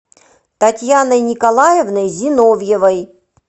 татьяной николаевной зиновьевой